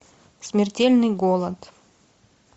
смертельный голод